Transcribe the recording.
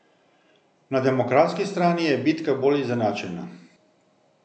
Na demokratski strani je bitka bolj izenačena.